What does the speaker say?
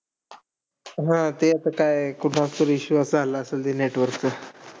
हा, ते आता काय. कुठं असेल issue चालू असेल network चा.